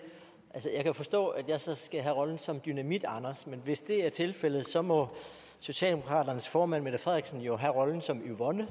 det jeg kan forstå at jeg skal have rollen som dynamitanders men hvis det er tilfældet så må socialdemokratiets formand fru mette frederiksen jo have rollen som yvonne